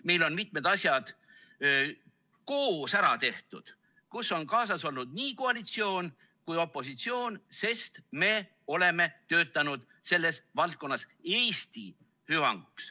Meil on mitmed asjad koos ära tehtud, kus on kaasas olnud nii koalitsioon kui ka opositsioon, sest me oleme töötanud selles valdkonnas Eesti hüvanguks.